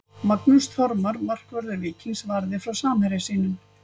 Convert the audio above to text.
Magnús Þormar markvörður Víkings varði frá samherja sínum.